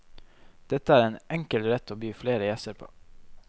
Dette er en enkel rett å by flere gjester på.